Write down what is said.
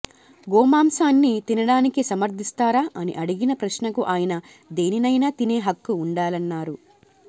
గోమాంసాన్ని తినడాన్ని సమర్థిస్తారా అని అడిగిన ప్రశ్నకు ఆయన దేనినైనా తినే హక్కు ఉండాలన్నారు